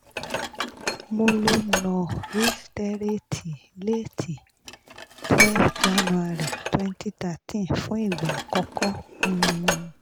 mo lo nur iseterate late um twelve january twenty thirteen fún ìgbà àkọ́kọ́ um